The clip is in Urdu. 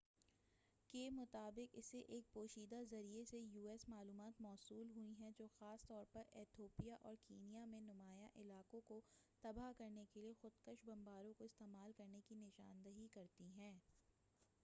u.s. کے مطابق اسے ایک پوشیدہ ذریعے سے معلومات موصول ہوئی ہیں جو خاص طور پر ایتھوپیا اور کینیا میں نمایاں علاقوں کو تباہ کرنے کے لیے خودکش بمباروں کو استعمال کرنے کی نشاندہی کرتی ہیں